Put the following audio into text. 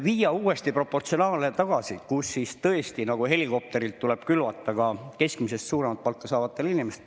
Viia uuesti proportsionaalsest tagasi, kus nagu helikopterilt tuleb külvata ka keskmisest suuremat palka saavatele inimestele …